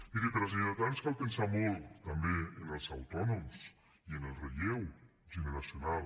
miri per als lleidatans cal pensar molt també en els autònoms i en el relleu generacional